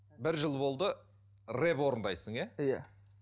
бір жыл болды рэп орындайсың иә иә